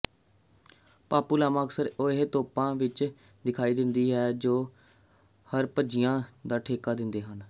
ਪਾਪੂਲਾਮਾ ਅਕਸਰ ਉਹ ਤੋਪਾਂ ਵਿੱਚ ਦਿਖਾਈ ਦਿੰਦੇ ਹਨ ਜੋ ਹਰਪਜੀਆਂ ਦਾ ਠੇਕਾ ਦਿੰਦੇ ਹਨ